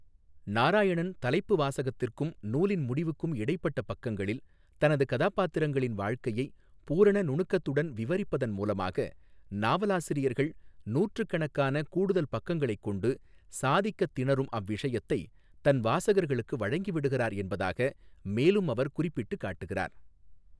நாராயணன் தலைப்பு வாசகத்திற்கும் நூலின் முடிவுக்கும் இடைப்பட்ட பக்கங்களில் தனது கதாபாத்திரங்களின் வாழ்க்கையை பூரண நுணுக்கத்துடன் விவரிப்பதன் மூலமாக நாவலாசிரியர்கள் நூற்றுக்கணக்கான கூடுதல் பக்கங்களைக் கொண்டு சாதிக்கத் திணறும் அவ்விஷயத்தை தன் வாசகர்களுக்கு வழங்கிவிடுகிறார் என்பதாக மேலும் அவர் குறிப்பிட்டுக் காட்டுகிறார்.